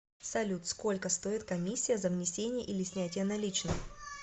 салют сколько стоит комиссия за внесение или снятие наличных